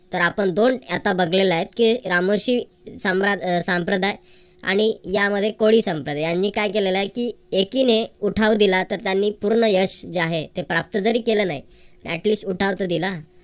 तर आपण दोन आता बघलेल हाय की रामोशी संप्रदाय आणि यामध्ये कोळी सांप्रदाय याने काय केलेल हाय की एकीने उठाव दिला तर त्यांनी पूर्ण यश जे आहे ते प्राप्त जरी केलं नाही तर at least उठाव तर दिला